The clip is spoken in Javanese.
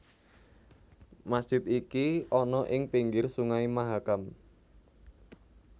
Masjid iki ana ing pinggir Sungai Mahakam